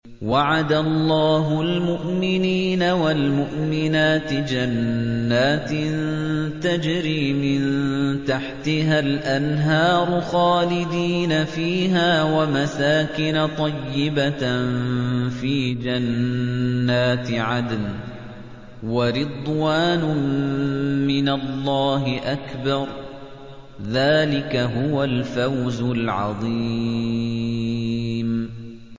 وَعَدَ اللَّهُ الْمُؤْمِنِينَ وَالْمُؤْمِنَاتِ جَنَّاتٍ تَجْرِي مِن تَحْتِهَا الْأَنْهَارُ خَالِدِينَ فِيهَا وَمَسَاكِنَ طَيِّبَةً فِي جَنَّاتِ عَدْنٍ ۚ وَرِضْوَانٌ مِّنَ اللَّهِ أَكْبَرُ ۚ ذَٰلِكَ هُوَ الْفَوْزُ الْعَظِيمُ